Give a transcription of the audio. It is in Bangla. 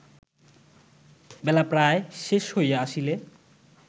বেলা প্রায় শেষ হইয়া আসিলে